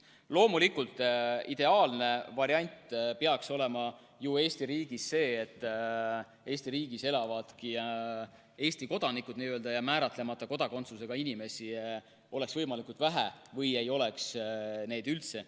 Loomulikult, ideaalne variant peaks olema ju see, et Eesti riigis elavadki Eesti kodanikud ja et määratlemata kodakondsusega inimesi oleks võimalikult vähe või ei oleks neid üldse.